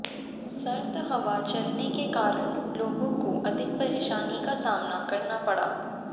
सर्द हवा चलने के कारण लोगों को अधिक परेशानी का सामना करना पड़ा